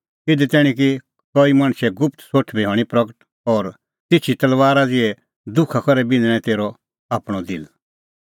इधी तैणीं कि कईए गुप्त सोठ बी हणीं प्रगट और तिछी तलबारा ज़िहै दुखा करै बिन्हणअ तेरअ आपणअ दिल